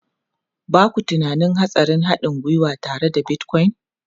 Ba ku tunanin hatsarin haɗin gwiwa tare da Bitcoin?